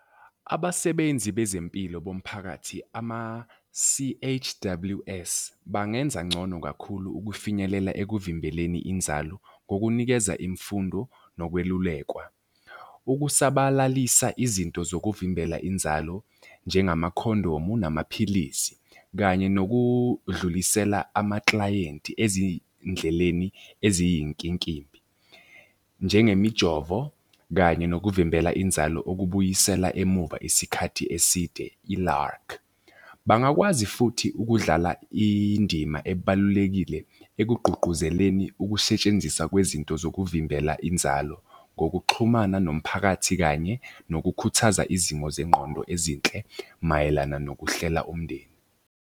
Abasebenzi bezempilo bomphakathi ama-C_H_W_S bangenza ngcono kakhulu ukufinyelela ekuvimbeleni inzalo ngokunikeza imfundo nokwelulekwa. Ukusabalalisa izinto zokuvimbela inzalo, njengamakhondomu namaphilisi kanye nokudlulisela amaklayenti ezindleleni eziyinkinkimbi. Njengemijovo kanye nokuvimbela inzalo okubuyisela emuva isikhathi eside i-lark. Bangakwazi futhi ukudlala indima ebalulekile ekugqugquzeleni ukusetshenziswa kwezinto zokuvimbela inzalo ngokuxhumana nomphakathi, kanye nokukhuthaza izimo zengqondo ezinhle mayelana nokuhlela umndeni.